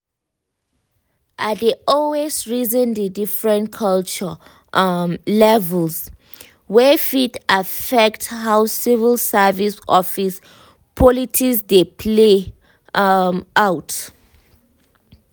i dey always reason the different culture um levels um wey fit affect how civil service office politics dey play um out.